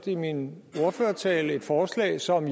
i min ordførertale nævnt et forslag som